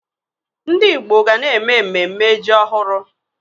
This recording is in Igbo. Ndị Igbo ga na-eme mmemme ji ọhụrụ.